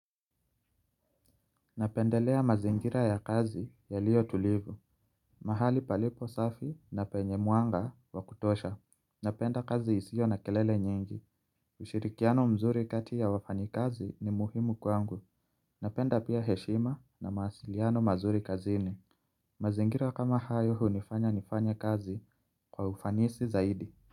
Napendelea mazingira ya kazi yaliyo tulivu, mahali palipo safi na penye mwanga wa kutosha Napenda kazi isiyo na kelele nyingi, ushirikiano mzuri kati ya wafanyikazi ni muhimu kwangu Napenda pia heshima na mawasiliano mazuri kazini mazingira kama hayo hunifanya nifanye kazi kwa ufanisi zaidi.